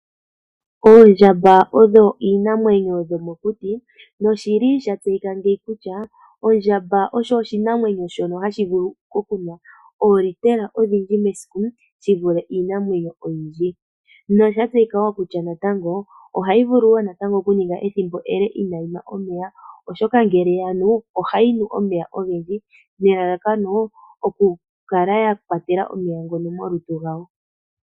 Oondjamba odho iinamwenyo yomokuti noshili sha tseyika ngeyi kutya, ondjamba osho oshinamwenyo shono hashi vulu okunwa oolitela odhindji mesiku shi vule iinamwenyo oyindji. Nosha tseyika wo natango ohayi vulu wo okuninga ethimbo ele ina yinwa omeya. Oshoka ngele yanu ohayi nu omeya ogendji, nelalakano okukala ya kwatela omeya ngono molutu lwayo.